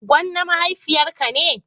gonna mahaifiya ka ne?